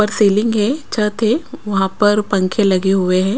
पर सीलिंग है छत है वहाँ पर पंखे लगे हुए हैं।